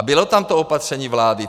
A bylo tam to opatření vlády.